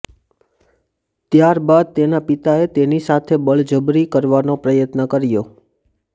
ત્યારબાદ તેના પિતાએ તેની સાથે બળજબરી કરવાનો પ્રયત્ન કર્યો